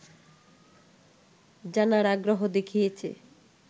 জানার আগ্রহ দেখিয়েছে